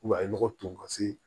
a ye nɔgɔ ton ka se